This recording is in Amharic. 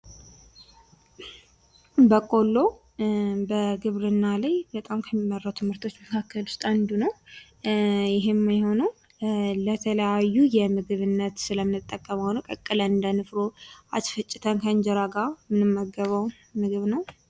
ቦቆሎ በግብርና ላይ በጣም ከሚመረቱ ምርቶች መካከል ዉስጥ አንዱ ነዉ። ይህም የሆነዉ ለተለያዩ ለምግብ ስለምንጠቀመዉ ነዉ። ቀቅለን እንደ ንፍሮ፣ አስፈጭተን ከእንጀራ ጋር የምንመገበዉ ምግብ ነዉ።